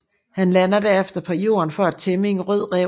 Han lander derefter på jorden for at tæmme en rød ræv